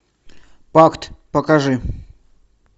пакт покажи